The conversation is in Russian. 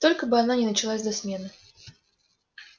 только бы она не началась до смены